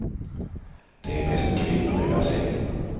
Det är mest kvinnor i bassängen.